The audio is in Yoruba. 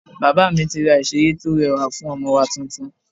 Bàbá mi ti rá ìsere to rẹwa fún ọmọ wá tuntun